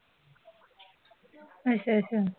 ਅੱਛਾ ਅੱਛਾ